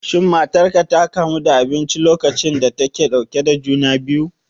Shin matarka ta kamu da abinci lokacin da take ɗauke da juna biyu?